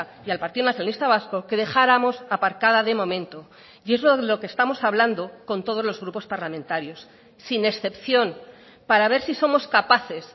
y al partido nacionalista vasco que dejáramos aparcada de momento y es lo que estamos hablando con todos los grupos parlamentarios sin excepción para ver si somos capaces